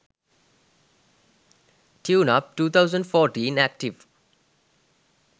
tune up 2014 active